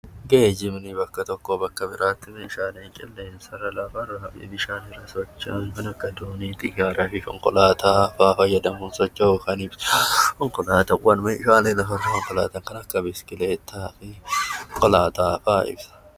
Geejibni bakka tokkoo bakka biraatti Meeshaalee lafarraa fi qilleensa irraa fi bishaan irra socho'an kan akka doonii fi konkolaataa ga'aa fayyadamuun socho'uu kan ibsu konkolaataawwan Meeshaalee karaa kamiyyuu biskileetaa fi konkolaataa fa'aa ibsa.